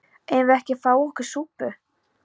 Eigum við ekki að fá okkur súpu?